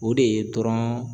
O de ye dɔrɔn